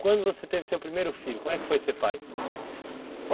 Quando você teve seu primeiro filho, como é que foi ser pai?